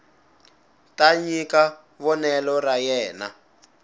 ta nyika vonelo ra yena